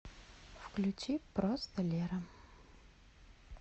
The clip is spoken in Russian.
включи просто лера